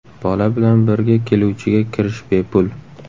Bola bilan birga keluvchiga kirish bepul.